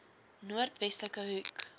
noord westelike hoek